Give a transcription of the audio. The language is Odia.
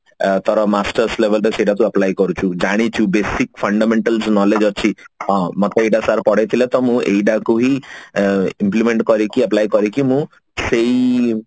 ଅ ତାର masters label ରେ ସେଟା ତୁ apply କରୁଛୁ ଜାଣିଛୁ basic fundamental knowledge ଅଛି ହଁ ଆମେତ ଏଇଟା sir ପଢେଇ ଥିଲେ ତ ମୁଁ ଏଇଟା କୁ ହିଁ ଅ implement କରିକି apply କରିକି ମୁଁ ସେଇ